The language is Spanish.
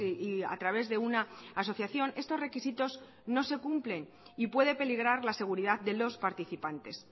y a través de una asociación estos requisitos no se cumplen y puede peligrar la seguridad de los participantes